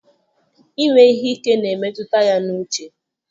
Ime ihe ike na-emetụta ya n'uche.